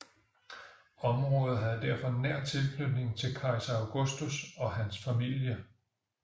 Området havde derfor nær tilknytning til kejser Augustus og hans familie